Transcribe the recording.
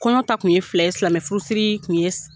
Kɔɲɔ ta kun ye fila ye silamɛ furusiri kun ye